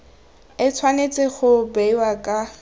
e tshwanetse go bewa ka